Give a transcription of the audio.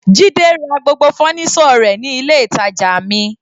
Jide ra gbogbo fọ́nísọ̀ ilé rẹ̀ ní ilé ìtàjà mi.